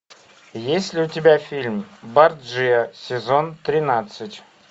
есть ли у тебя фильм борджиа сезон тринадцать